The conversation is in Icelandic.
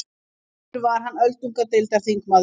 Áður var hann öldungadeildarþingmaður